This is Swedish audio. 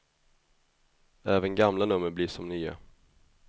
Även gamla nummer blir som nya.